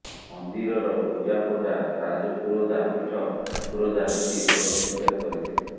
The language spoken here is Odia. ମନ୍ଦିରର ପୂଜାପଣ୍ଡା ରାଜପୁରୋଧା ପୀଠ ପୁରୋଧା ମିଶି ଷୋଡ଼ଶ ପୂଜା କରିଥିଲେ